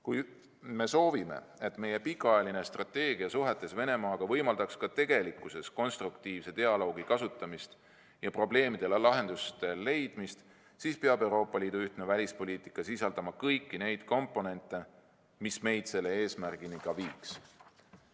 Kui me soovime, et meie pikaajaline strateegia suhetes Venemaaga võimaldaks ka tegelikkuses konstruktiivse dialoogi kasutamist ja probleemidele lahenduste leidmist, siis peab Euroopa Liidu ühtne välispoliitika sisaldama kõiki neid komponente, mis meid selle eesmärgini ka viiks.